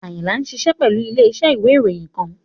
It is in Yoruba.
Ayinla ṣiṣẹ pẹlu ile-iṣẹ iwe iroyin kan